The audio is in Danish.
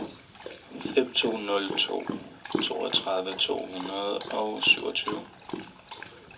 fem to nul to toogtredive to hundrede og syvogtyve